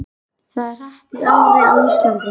Það er hart í ári á Íslandi.